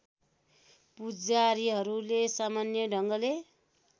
पुजारीहरूले सामान्य ढङ्गले